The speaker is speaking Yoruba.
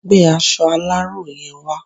Gbé aṣọ aláró yen wa